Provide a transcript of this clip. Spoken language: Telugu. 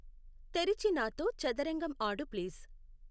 తెరిచి నాతో చదరంగం ఆడు ప్లీజ్ .